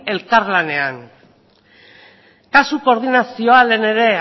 elkarlanean kasu koordinazioa lehen ere